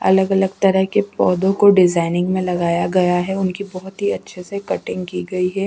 अलग-अलग तरह के पौधों को डिजाइनिंग में लगाया गया है उनकी बहुत ही अच्छे से कटिंग की गई है।